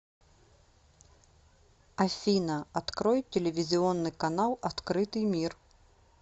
афина открой телевизионный канал открытый мир